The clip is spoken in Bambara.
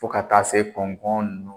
Fo ka taa se